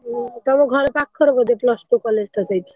ଉଁ ତମ ଘର ପାଖରେ ବୋଧେ plus two college ତ ସେଇଠି।